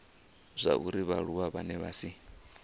zwauri vhaaluwa vhane vha si